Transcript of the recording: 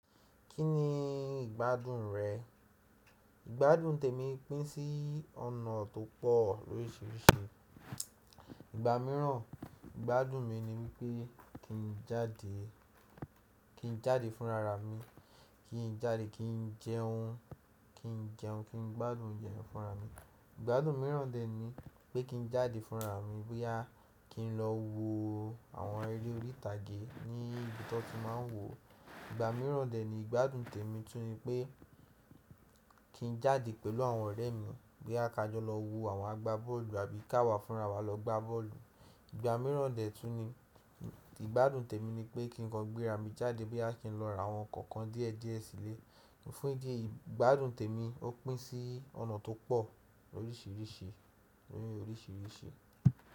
Kí ni ìgbádùn rẹ? Ìgbádùn tèmi pín sí ọ̀nà tó pọ̀ oríṣiríṣi. Ìgbà míràn ìgbádùn mi ni wípé kí n jáde, kí n jáde fúnra ra mi, kí n jáde kí n jẹun, kí n jẹun, kí n gbádùn oúnjẹ fúnra mi. Ìgbádùn míràn dè ní pé kí n jáde fúnra mi bóyá kí n lọ wo àwọn eré orí ìtàgé ní ibi tó ti máa ń wò ó. Ìgbà míràn dè ni ìgbádùn tèmi tún ni pé kí n jáde pẹ̀lú àwọn ọ̀rẹ́ mi bóyá ka jọ lọ wo àwọn agbábọ́ọ̀lù àbí ká wà fúnra wa lọ gbá bọ́ọ̀lù. Ìgbà míràn dè tún ni ìgbádùn tèmi ni pé kí n kan gbéra mi jáde bóyá kí n lọ ra àwọn ǹkan kan dí ẹ̀ dí ẹ̀ sílé. Ní fún ìdí yìí ìgbádùn tèmi ó pín sí ọ̀nà tó pọ̀ oríṣiríṣi, oríṣiríṣi.